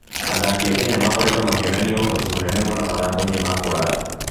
Athaki a Kenya makoretwo makĩonania ũhoti mũnene mũno mathako-inĩ ma kũraya.